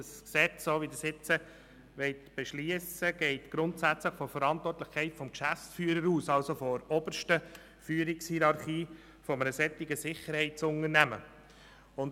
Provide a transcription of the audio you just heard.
Das Gesetz, das Sie jetzt beschliessen wollen, geht grundsätzlich von der Verantwortlichkeit des Geschäftsführers aus, also von der obersten Führungshierarchie eines Sicherheitsdienstleistungsunternehmens.